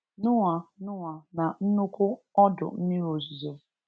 Noah Noah na nnụkwụ ọdụ mmiri ozizo